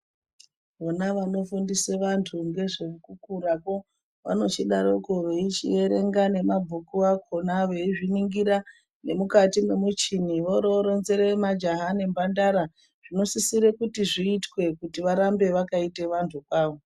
Vona vano fundisa vantu nge zveku kurakwo vanochi daroko vechi erenga nema bhuku akona vei ningira ne mukati me muchini vori vo ronzera majaha ne mhandara zvino sisire kuti zviititwe kuti varambe vakaita vantu kwavo.